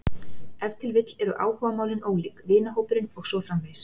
Ef til vill eru áhugamálin ólík, vinahópurinn og svo framvegis.